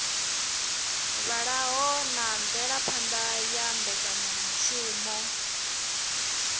vhalaho na mvelaphana ya mbekanyamushumo